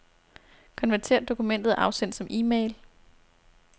Konvertér dokumentet og afsend som e-mail.